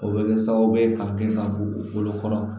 O bɛ kɛ sababu ye ka kɛ ka bɔ u bolo kɔrɔ